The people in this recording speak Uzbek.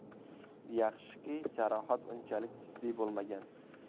Yaxshiki, jarohat unchalik jiddiy bo‘lmagan.